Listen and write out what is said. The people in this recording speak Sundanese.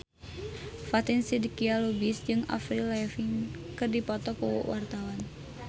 Fatin Shidqia Lubis jeung Avril Lavigne keur dipoto ku wartawan